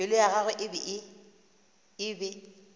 pelo ya gagwe e be